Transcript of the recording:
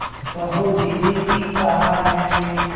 कहो दीदी ठीक कहा न मैंने